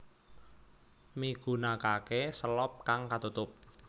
Migunakake selop kang katutup